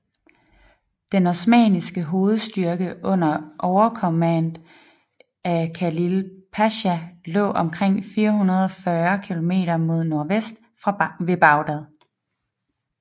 Den osmanniske hovedstyrke under overkommand af Khalil Pasha lå omkring 440 km mod nordvest ved Bagdad